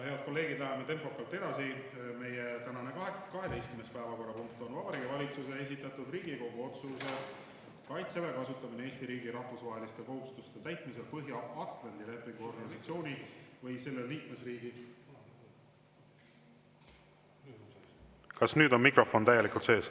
Kas nüüd on mikrofon täielikult sees?